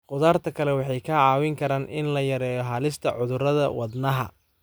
Khudaarta kale waxay ka caawin karaan in la yareeyo halista cudurrada wadnaha.